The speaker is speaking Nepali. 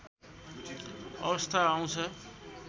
अवस्था आउँछ